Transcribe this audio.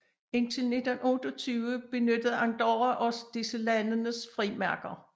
Indtil 1928 benyttede Andorra også disse landenes frimærker